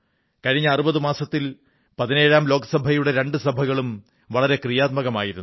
കഴിഞ്ഞ ആറു മാസത്തിൽ പതിന്നേഴാം ലോക്സഭയുടെ രണ്ടു സഭകളും വളരെ ക്രിയാത്മകമായിരുന്ന്നു